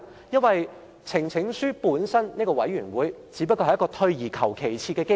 因為呈請書本身只是一個退而求其次的機制。